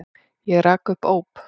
Og rak upp óp.